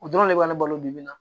O dɔrɔn de b'a balo bibi in na